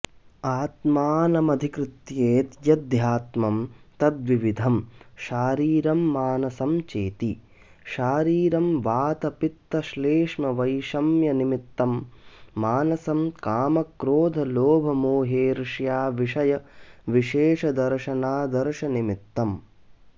आत्मानमधिकृत्येत्यध्यात्मम् तद्द्विविधं शारीरं मानसं चेति शारीरं वातपित्तश्लेष्मवैषम्यनिमित्तं मानसं कामक्रोधलोभमोहेर्ष्याविषयविशेषदर्शनादर्शननिमित्तम्